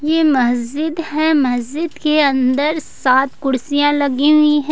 ये मस्जिद है मस्जिद के अंदर सात कुर्सियां लगी हुई है।